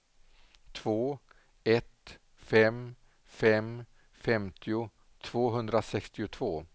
två ett fem fem femtio tvåhundrasextiotvå